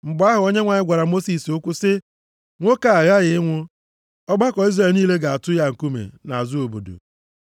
Mgbe ahụ, Onyenwe anyị gwara Mosis okwu sị ya, “Nwoke a ghaghị ịnwụ. Ọgbakọ Izrel niile ga-atụ ya nkume nʼazụ obodo.”